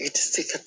I tɛ se ka